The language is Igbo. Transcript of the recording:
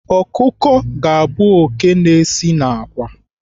Ọkụkọ ga-abụ oké na-esi n'àkwá.